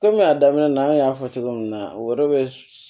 Kɔmi a daminɛ na an y'a fɔ cogo min na o yɛrɛ bɛ